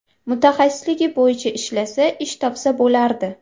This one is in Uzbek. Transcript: Mutaxassisligi bo‘yicha ishlasa, ish topsa bo‘lardi.